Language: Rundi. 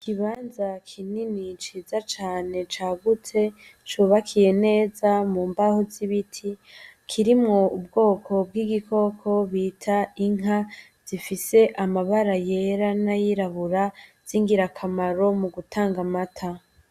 Ikibanza kinini ciza cane cagutse cubakiye neza mu mbaho z'ibiti kirimwo ubwoko bw'igikoko bita inka zifise amabara yera n'ayirabura z'ingirakamaro mu gutanga amata.